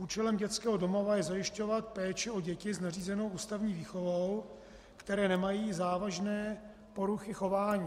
Účelem dětského domova je zajišťovat péči o děti s nařízenou ústavní výchovou, které nemají závažné poruchy chování.